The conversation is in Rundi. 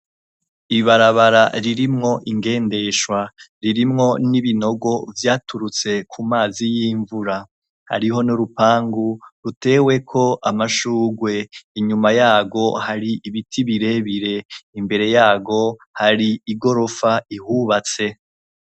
Ibarabara ririmwo ingendeshwa, ririmwo n'ibinogo vyaturutse ku mazi y'imvura. Hariho n'urupangu ruteweko amashurwe, inyuma yarwo hari ibiti birebire imbere yarwo hari igorofa ihubatse.